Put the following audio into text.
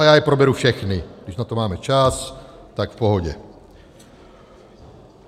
A já je proberu všechny, když na to máme čas, tak v pohodě.